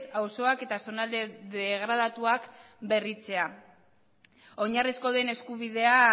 auzoak eta zonalde degradatuak berritzea oinarrizko den eskubidea